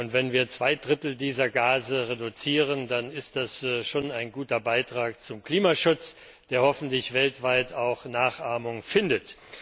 Und wenn wir zwei Drittel dieser Gase reduzieren, dann ist das schon ein guter Beitrag zum Klimaschutz, der hoffentlich weltweit auch Nachahmung findet.